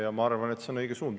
Ja ma arvan, et see on õige suund.